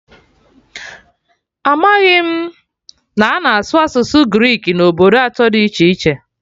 Amaghị m na a na-asụ asụsụ Greek na obodo atọ dị iche iche